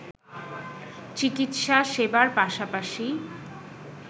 চিকিৎসা সেবার পাশাপাশি